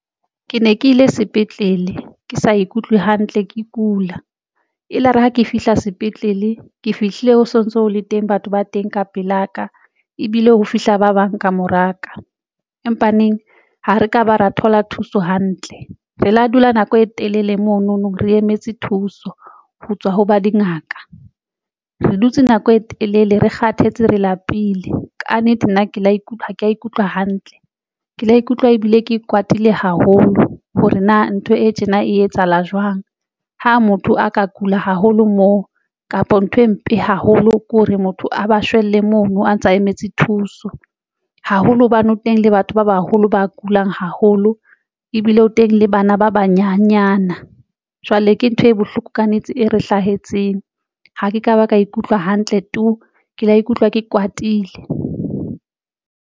Ke ne ke ile sepetlele ke sa ikutlwe hantle ke kula elare ha ke fihla sepetlele, ke fihlile o sontso ho le teng batho ba teng ka pelaka ebile ho fihla ba bang ka moraka empaneng ha re ka ba ra thola thuso hantle, re la dula nako e telele mono no, re emetse thuso ho tswa ho ba dingaka, re dutse nako e telele, re kgathetse, re lapile ka nnete nna ke la ikutlwa ke ikutlwa hantle ke la ikutlwa ebile ke kwatile haholo hore na ntho e tjena e etsahala jwang. Ha motho a ka kula haholo moo kapa ntho e mpe haholo ke hore motho a ba shwele mono, a ntsa a emetse thuso haholo hobane o teng le batho ba baholo ba kulang haholo ebile o teng le bana ba banyenyana. Jwale ke ntho e bohloko ka nnete e re hlahetseng ha ke ka ba ka ikutlwa hantle tu! ke la ikutlwa ke kwatile.